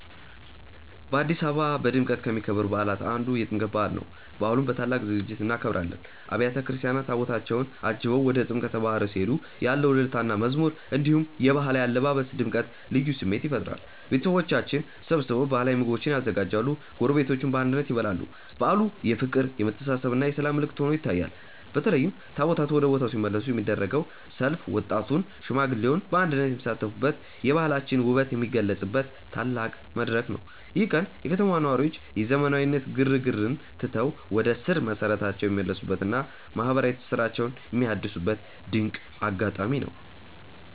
በአዲስ አበባ በድምቀት ከሚከበሩ በዓላት አንዱ የጥምቀት በዓል ነው። በዓሉን በታላቅ ዝግጅት እናከብራለን። አብያተ ክርስቲያናት ታቦታታቸውን አጅበው ወደ ጥምቀተ ባሕር ሲሄዱ ያለው እልልታና መዝሙር፣ እንዲሁም የባህላዊ አለባበስ ድምቀት ልዩ ስሜት ይፈጥራል። ቤተሰቦቻችን ተሰብስበው ባህላዊ ምግቦችን ያዘጋጃሉ፤ ጎረቤቶችም በአንድነት ይበላሉ። በዓሉ የፍቅር፣ የመተሳሰብና የሰላም ምልክት ሆኖ ይታያል። በተለይም ታቦታቱ ወደ ቦታው ሲመለሱ የሚደረገው ሰልፍ ወጣቱና ሽማግሌው በአንድነት የሚሳተፉበት፣ የባህላችንን ውበት የምንገልጽበት ትልቅ መድረክ ነው። ይህ ቀን የከተማዋ ነዋሪዎች የዘመናዊነት ግርግርን ትተው ወደ ስር መሰረታቸው የሚመለሱበትና ማህበራዊ ትስስራቸውን የሚያድሱበት ድንቅ አጋጣሚ ነው።